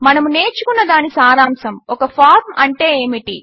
మనము నేర్చుకున్నదాని సారాంశము ఒక ఫార్మ్ అంటే ఏమిటి